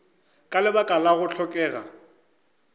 ka lebaka la go hlokega